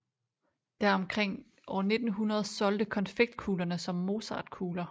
Der omkring 1900 solgte konfektkuglerne som mozartkugler